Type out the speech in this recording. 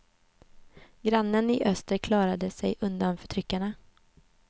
Grannen i öster klarade sig undan förtryckarna.